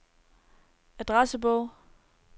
adressebog